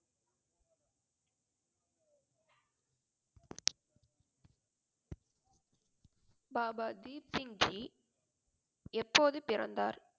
பாபா தீப் சிங் ஜி எப்போது பிறந்தார்?